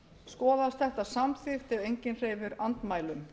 skoðast þetta samþykkt ef enginn hreyfir andmælum